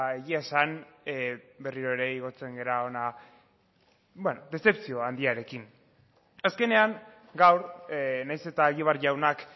egia esan berriro ere igotzen gara hona dezepzio handiarekin azkenean gaur nahiz eta egibar jaunak